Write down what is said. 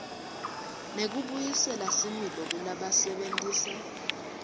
nekubuyisela similo kulabasebentisa